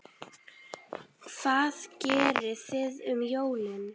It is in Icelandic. Hvað gerið þið um jólin?